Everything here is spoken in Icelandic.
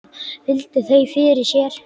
Virti þau fyrir sér.